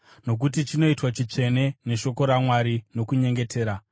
nokuti chinoitwa chitsvene neshoko raMwari nokunyengetera.